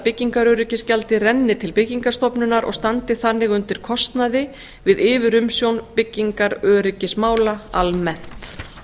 byggingaröryggisgjaldið renni til byggingarstofnunar og standi þannig undir kostnaði við yfirumsjón byggingaröryggismála almennt